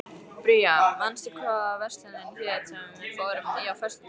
Bría, manstu hvað verslunin hét sem við fórum í á föstudaginn?